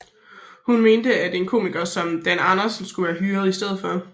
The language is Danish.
Hun mente at en komiker som Dan Andersen skulle være hyret i stedet for